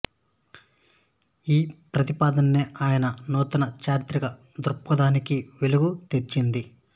ఈ ప్రతిపాదనే ఆయన నూతన చారిత్రిక దృక్పథానికి వెలుగు తెచ్చింది